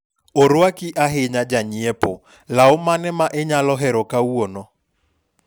orwaki ahinya janyiepo, law mane ma inyalo hero kawuono